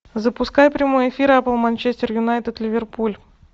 запускай прямой эфир апл манчестер юнайтед ливерпуль